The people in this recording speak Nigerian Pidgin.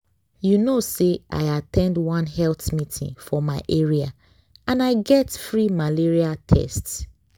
you know say i at ten d one health meeting for my area and i get free malaria test.